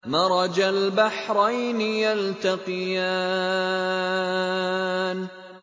مَرَجَ الْبَحْرَيْنِ يَلْتَقِيَانِ